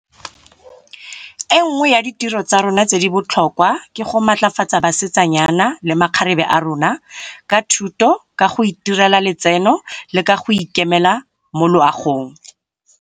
E nngwe ya ditiro tsa rona tse di botlhokwa ke go matlafatsa basetsanyana le makgarebe a rona, ka thuto, ka go itirela letseno le ka go ikemela mo loagong.